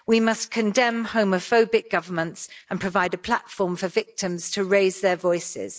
We must condemn homophobic governments and provide a platform for victims to raise their voices.